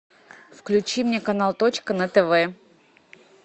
включи мне канал точка на тв